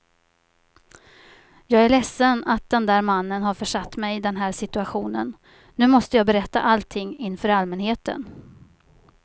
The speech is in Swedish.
Jag är ledsen att den där mannen har försatt mig i den här situationen, nu måste jag berätta allting inför allmänheten.